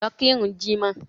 Lọ kirun jímọ̀!